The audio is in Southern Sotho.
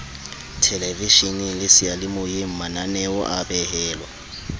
thelevesheneng le seyalemoyeng mananeoa behelwa